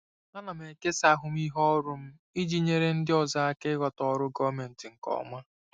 Ana m ekesa ahụmịhe ọrụ m iji nyere ndị ọzọ aka ịghọta ọrụ gọọmentị nke ọma.